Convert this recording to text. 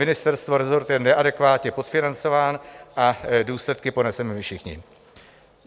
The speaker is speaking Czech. Ministerstvo, resort je neadekvátně podfinancován a důsledky poneseme my všichni.